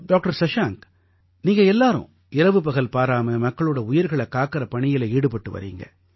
doctor Shashank நீங்க எல்லாரும் இரவுபகல் பாராம மக்களோட உயிர்களைக் காக்கற பணியில ஈடுபட்டு வர்றீங்க